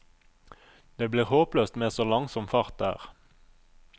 Det blir håpløst med så langsom fart der.